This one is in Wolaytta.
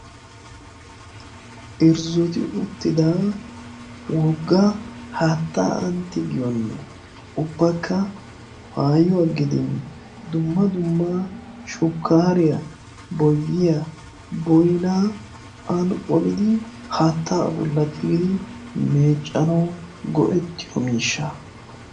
irzzuti uttida wogga haattaa antti giyoonne ubbakka maayuwaa gidin dumma dumma shukkaariyaa, boyiya ,boinaa ani qolidi haatta abullati gidi meeccano go7ettiyo miishsha.